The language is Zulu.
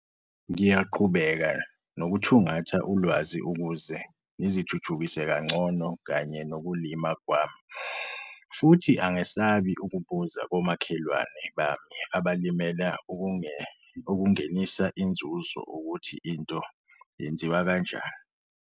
Ngiyaqhubeka nokuthungatha ulwazi ukuze ngizithuthukise kancono kanye nokulima kwami futhi angesabi ukubuza komakhelwane bami abalimela ukungenisa inzuzo ukuthi into yenziwa kanjani.